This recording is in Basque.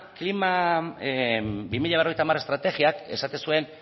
klima bi mila berrogeita hamar estrategiak esaten zuen